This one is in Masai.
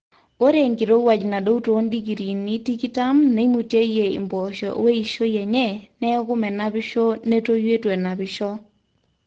ore enkirowuaj nadou te 20°c neimutieyie impoosho weishoi enye neeku menapisho netoyu eitu enapisho